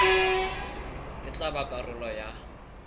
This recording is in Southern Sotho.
e tla ba karolo ya